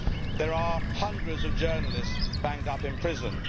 There are hundreds of journalists banged up in prison.